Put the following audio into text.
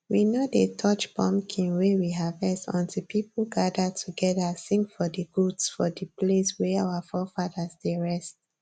we no dey touch pumpkin wey we harvest until people gather together sing for di goods for the place wey our forefathers dey rest